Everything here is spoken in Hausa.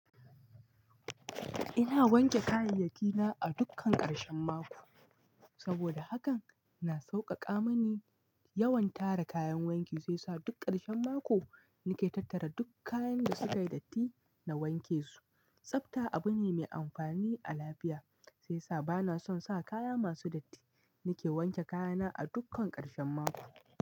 Ina wanke kayayyaki na a dukkan ƙarshen mako. Saboda haka, na sauƙaƙa mani yawan tara kayan wanki zai sa duk ƙarshen mako nake tattara duk kayan da suka yi datti na wanke su. Tsabta abu ne mai amfani a lafiya sai sa bana son sa kaya masu datti. Nake wanke kaya na a dukkan ƙarshen mako.